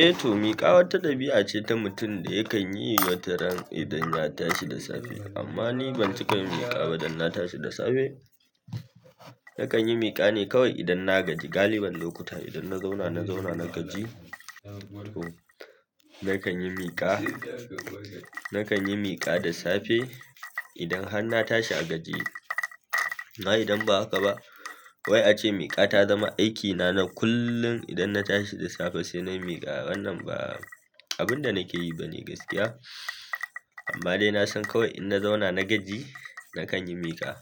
Eh toh miƙa wata ɗabi'a ce ta mutum da yakanyi wataran idan ya tashi da safe amma ni ban ciƙa miƙa ba dan na tashi da safe. Nakan yi miƙa ne kawai idan na gaji. Galibin lokuta idan na zauna, na zauna na gaji. To, na kan yi miƙa, na kan yi miƙa da safe idan har na tashi a gajiye. Amma idan ba haka ba, wai ake miƙa ta zama aikina na kullum idan na tashi da safe sai na yi miƙa. Wannan ba abin da nake yi ba ne gaskiya. Amma dai na san kawai idan na zauna na gaji, na kan yi miƙa.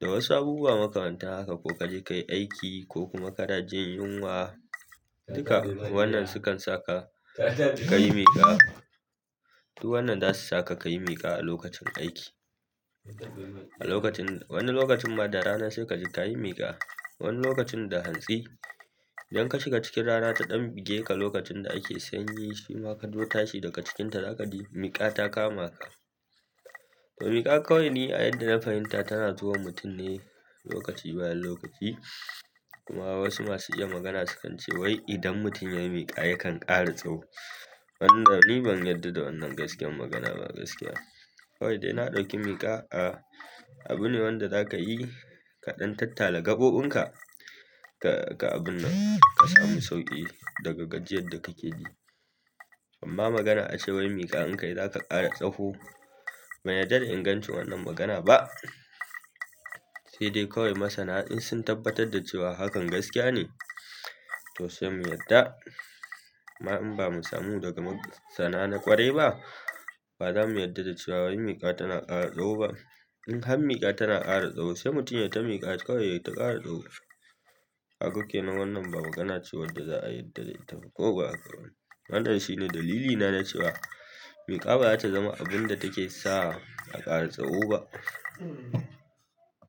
Da wasu abubuwa makamantan haka ko kaje kayi aiki ko kuma kada jin yunwa, duka wannan sukan saka ka yi miƙa. Duk wannan zasu saka ka yi miƙa a lokacin aiki. A lokacin, wani lokacin ma da rana sai kaji tayi miƙa. Wani lokacin da hantsi. Idan ka shiga cikin ranan ta dan buge ka lokacin da ake sanyi shima kazo tashi daga cikinta zakaji miƙa ta kama ka to miƙa kawai ni a yadda na fahimta tana zuwa mutum ne lokaci bayan lokaci. Kuma wasu masu iya magana sukan ce wai idan mutum yayi miƙa yakan ƙara tsaho. Wanda ni ban yarda da wannan gaskiyar magana ba gaskiya. Kawai dai na ɗauki miƙa a abu ne wanda zaka yi ka ɗan tattala gaɓoɓin ka, ka, ka abun nan ka samu sauƙi daga gajiyar da kake ji. Amma magana a cewa wai miƙa in kayi zaka ƙara tsaho, ban yarda da in gancin wannan magana ba. Sai dai kawai masana in sun tabbatar da cewa hakan gaskiya ne, to sai mu yarda. Amma in ba mu samu daga masana na ƙwarai ba, ba za mu yarda da cewa wai miƙa tana ƙara tsaho ba. In har miƙa tana ƙara tsaho, sai mutum yayi ta miƙa kawai yai ta ƙara tsaho. Kaga ke nan wannan ba magana ce wadda za a yarda da ita ba ko ba haka bane. Wanan shine dalilina na cewa miƙa baza ta zama abun da take sa a ƙara tsaho ba.